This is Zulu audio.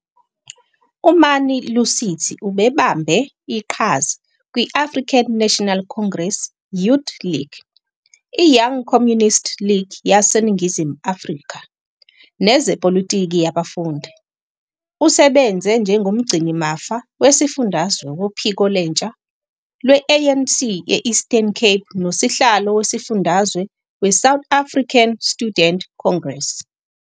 UMani-Lusithi ubebambe iqhaza kwi- African National Congress Youth League, iYoung Communist League yaseNingizimu Afrika, nezepolitiki yabafundi. Usebenze njengomgcinimafa wesifundazwe wophiko lwentsha lwe-ANC e-Eastern Cape nosihlalo wesifundazwe weSouth African Student Congress.